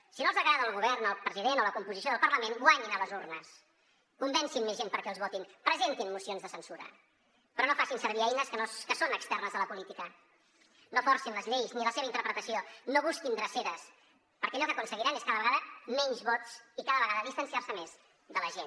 si no els agrada el govern el president o la composició del parlament guanyin a les urnes convencin més gent perquè els votin presentin mocions de censura però no facin servir eines que són externes a la política no forcin les lleis ni la seva interpretació no busquin dreceres perquè allò que aconseguiran és cada vegada menys vots i cada vegada distanciar se més de la gent